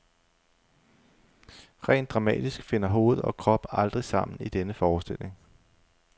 Rent dramatisk finder hoved og krop aldrig sammen i denne forestilling.